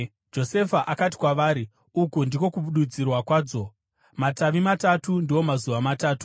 Josefa akati kwavari, “Uku ndiko kududzirwa kwadzo. Matavi matatu ndiwo mazuva matatu.